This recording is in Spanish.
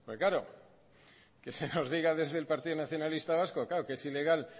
porque claro que se nos diga desde el partido nacionalista vasco claro que es ilegal